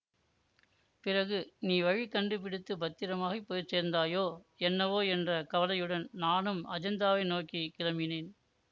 பிறகு நீ வழி கண்டுபிடித்துப் பத்திரமாய்ப் போய் சேர்ந்தாயோ என்னவோ என்ற கவலையுடன் நானும் அஜந்தாவை நோக்கி கிளம்பினேன்